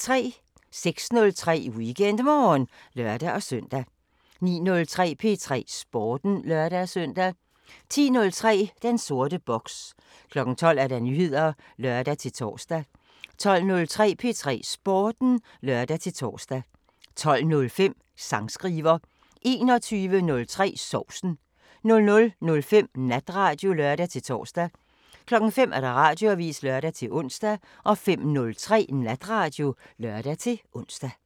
06:03: WeekendMorgen (lør-søn) 09:03: P3 Sporten (lør-søn) 10:03: Den sorte boks 12:00: Nyheder (lør-tor) 12:03: P3 Sporten (lør-tor) 12:05: Sangskriver 21:03: Sovsen 00:05: Natradio (lør-tor) 05:00: Radioavisen (lør-ons) 05:03: Natradio (lør-ons)